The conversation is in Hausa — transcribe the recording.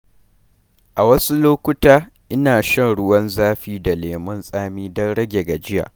A wasu lokuta, ina shan ruwan zafi da lemun tsami don rage gajiya.